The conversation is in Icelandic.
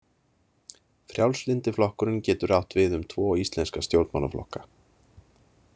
Frjálslyndi flokkurinn getur átt við um tvo íslenska stjórnmálaflokka.